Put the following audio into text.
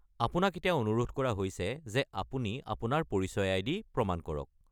আপোনাক এতিয়া অনুৰোধ কৰা হৈছে যে আপুনি আপোনাৰ পৰিচয় আইডি দি প্ৰমাণ কৰক।